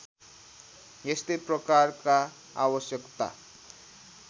यस्तै प्रकारका आवश्यकता